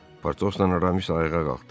Potosla Aramis ayağa qalxdı.